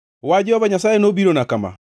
Wach Jehova Nyasaye nobirona kama: